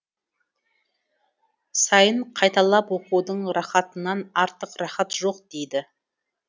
сайын қайталап оқудың рахатынан артық рахат жоқ дейді